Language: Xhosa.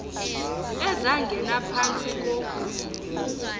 ezangena phantsi ko